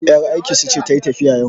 yar aikinsu ce ta yi tafiya yau